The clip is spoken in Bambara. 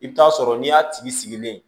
I bɛ t'a sɔrɔ n'i y'a tigi sigilen ye